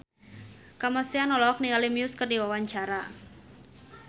Kamasean olohok ningali Muse keur diwawancara